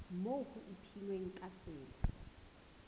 moo ho ipehilweng ka tsela